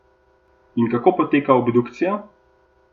In kako poteka obdukcija?